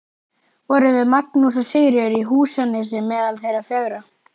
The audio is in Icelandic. Voru þau Magnús og Sigríður í Húsanesi meðal þeirra fjögurra.